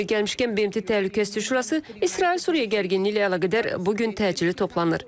Yeri gəlmişkən BMT Təhlükəsizlik Şurası İsrail-Suriya gərginliyi ilə əlaqədar bu gün təcili toplanır.